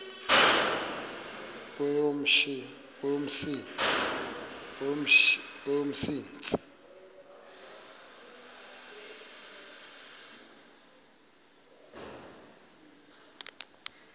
kweyomsintsi